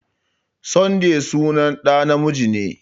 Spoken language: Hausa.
Sunday sunan ɗa namiji ne.